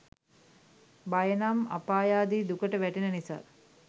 භය නම් අපායාදී දුකට වැටෙන නිසා